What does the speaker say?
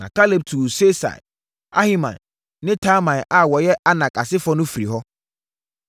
Na Kaleb tuu Sesai, Ahiman ne Talmai a wɔyɛ Anak asefoɔ no firii hɔ.